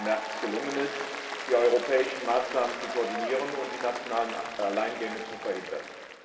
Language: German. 13. März gelungen ist, die europäischen Maßnahmen zu koordinieren und die nationalen Alleingänge zu verhindern.